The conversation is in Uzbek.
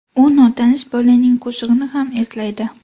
U notanish bolaning qo‘shig‘ini ham eslaydi.